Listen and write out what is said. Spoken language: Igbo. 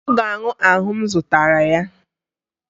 Ọ ga-aṅụ ahụ m zụtara ya